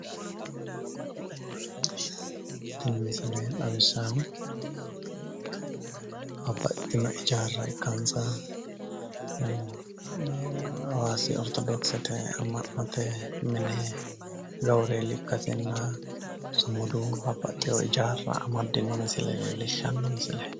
Tini misile xawissaahu babbaxxitino hijaarra ikkansa hawaasi ortodoksete amma'note mine gawureeli ikkasinna sumudu babbaxxiwo hijaarra amaddino misile leellishshanno misileeti.